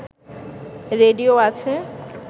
radio আছে